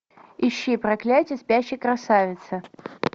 ищи проклятие спящей красавицы